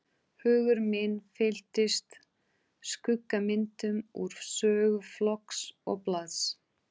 Hugur minn fylltist skuggamyndum úr sögu flokks og blaðs.